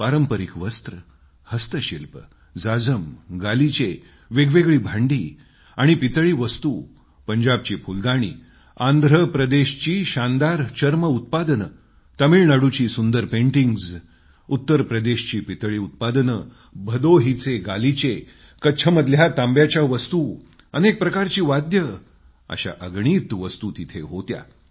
पारंपरिक वस्त्र हस्तशिल्प जाजम गालिचे वेगवेगळी भांडी आणि पितळी वस्तू पंजाबची फुलकारी आंध्र प्रदेशचे शानदार लेदरकाम तामिळनाडूची सुंदर पेटिंग्स उत्तर प्रदेशची पितळी उत्पादनं भदोहीचे गालिचे कच्छमधल्या तांब्याच्या वस्तू अनेक प्रकारची संगीत वाद्ययंत्रे अशा अगणित वस्तू तिथं होत्या